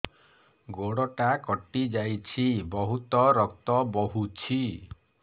ଗୋଡ଼ଟା କଟି ଯାଇଛି ବହୁତ ରକ୍ତ ବହୁଛି